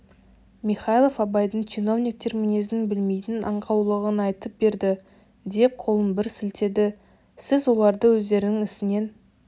михайлов абайдың чиновниктер мінезін білмейтін аңқаулығын айтып берді деп қолын бір сілтеді сіз оларды өздерінің ісінен